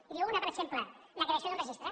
i en diu una per exemple la creació d’un registre